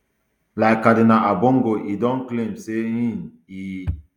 like cardinal ambongo e don claim say um e